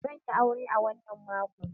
Zan yi aure a wannan makon.